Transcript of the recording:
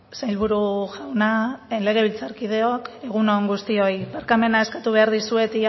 sailburu jauna legebiltzarkideok egun on guztioi barkamena eskatu behar dizuet